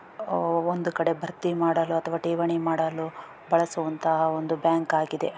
ಒಂದು ಕಡೆ ಭರ್ತಿ ಮಾಡಲು ಅಥವಾ ಠೇವಣಿ ಮಾಡಲು ಬಳಸುವಂತಹ ಒಂದು ಬ್ಯಾಂಕ್ ಆಗಿದೆ.